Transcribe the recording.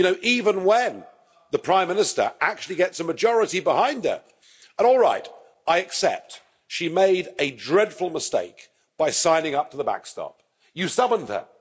Even when the Prime Minister actually gets a majority behind her and, alright, I accept she made a dreadful mistake by signing up to the backstop. You summoned her.